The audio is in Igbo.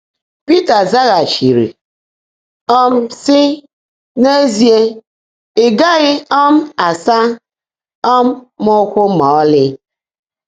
Pị́tà zágháchiírí, um sị́: “N’ézíe, ị́ gághị́ um ásá um m ụ́kwụ́ má ọ́lị́.”